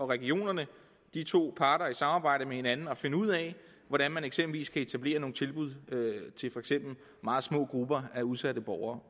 regionerne de to parter i samarbejde med hinanden at finde ud af hvordan man eksempelvis kan etablere nogle tilbud til for eksempel meget små grupper af udsatte borgere